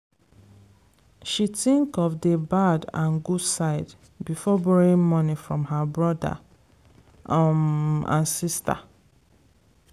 she think of d bad and good side before borrowing money from her brother um and sister.